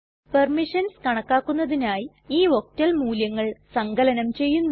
permissions കണക്കാക്കുന്നതിനായി ഈ octal മൂല്യങ്ങൾ സങ്കലനം ചെയ്യുന്നു